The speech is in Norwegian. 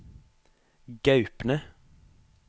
Gaupne